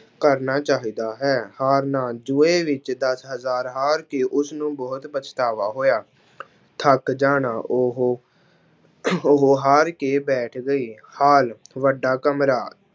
ਕਰਨਾ ਚਾਹੀਦਾ ਹੈ, ਹਾਰਨਾ ਜੂਐ ਵਿੱਚ ਦਸ ਹਜ਼ਾਰ ਹਾਰ ਕੇ ਉਸਨੂੰ ਬਹੁਤ ਪਛਤਾਵਾ ਹੋਇਆ ਥੱਕ ਜਾਣਾ ਉਹ ਉਹ ਹਾਰ ਕੇ ਬੈਠ ਗਏ, ਹਾਲ ਵੱਡਾ ਕਮਰਾ।